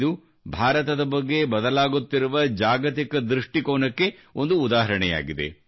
ಇದು ಭಾರತದ ಬಗ್ಗೆ ಬದಲಾಗುತ್ತಿರುವ ಜಾಗತಿಕ ದೃಷ್ಟಿಕೋನಕ್ಕೆ ಒಂದು ಉದಾಹರಣೆಯಾಗಿದೆ